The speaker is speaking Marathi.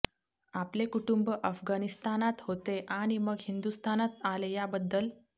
आपले कुटुंब अफगणिस्तानात होते आणि मग हिंदुस्थानात आले याबद्दल